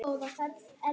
Hún er farin.